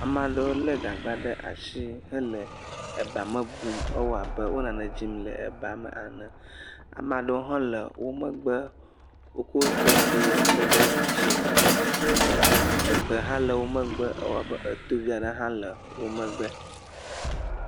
Ame aɖewo lé gagba ɖe asi hele eba me blum, ewɔ abe wo nane dzim le eba me ene, ame aɖewo hã le wo megbe wokɔ xexi lé ɖe asi, egbe aɖewo hã le wo megbe, ewɔ abeetɔ vi aɖe le wo megbe ene.